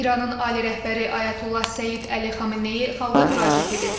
İranın ali rəhbəri Ayətullah Seyid Əli Xameneyi xalqa müraciət edib.